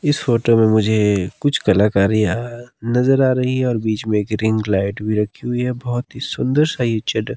इस फोटो में मुझे कुछ कलाकारीया नजर आ रही है और बीच में एक रिंग लाइट भी रखी हुई है बहुत ही सुंदर सा ये जगह--